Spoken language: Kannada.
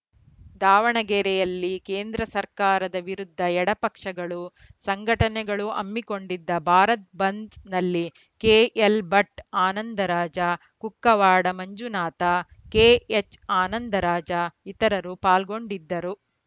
ದಾವಣಗೆರೆಯಲ್ಲಿ ಕೇಂದ್ರ ಸರ್ಕಾರದ ವಿರುದ್ಧ ಎಡ ಪಕ್ಷಗಳು ಸಂಘಟನೆಗಳು ಹಮ್ಮಿಕೊಂಡಿದ್ದ ಭಾರತ ಬಂದ್‌ನಲ್ಲಿ ಕೆಎಲ್‌ಭಟ್‌ ಆನಂದರಾಜ ಕುಕ್ಕವಾಡ ಮಂಜುನಾಥ ಕೆಎಚ್‌ಆನಂದರಾಜ ಇತರರು ಪಾಲ್ಗೊಂಡಿದ್ದರು